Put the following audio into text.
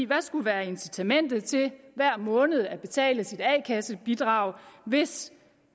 hvad skulle være incitamentet til hver måned at betale sit a kasse bidrag hvis